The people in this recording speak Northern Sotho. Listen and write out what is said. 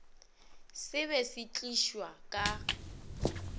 se be se tlišwa ka